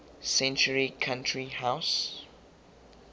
century country house